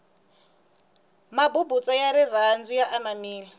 mabubutsa ya rirhandu ya anamile